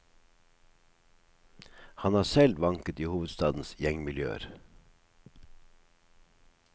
Han har selv vanket i hovedstadens gjengmiljøer.